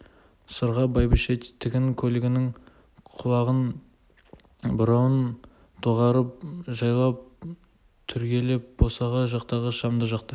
сырға бәйбіше тігін көлігінің құлағын бұрауын доғарып жайлап түрегеп босаға жақтағы шамды жақты